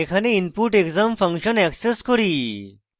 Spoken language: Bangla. এখানে input _ exam ফাংশন অ্যাক্সেস করি